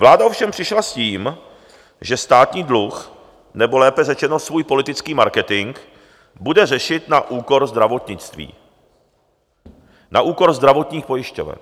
Vláda ovšem přišla s tím, že státní dluh, nebo lépe řečeno svůj politický marketing, bude řešit na úkor zdravotnictví, na úkor zdravotních pojišťoven.